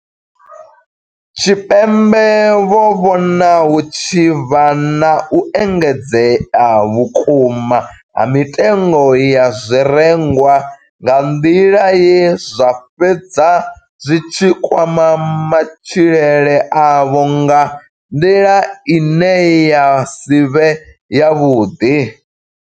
Tshipembe vho vhona hu tshi vha na u engedzea vhukuma ha mitengo ya zwirengwa nga nḓila ye zwa fhedza zwi tshi kwama matshilele avho nga nḓila ine ya si vhe yavhuḓi.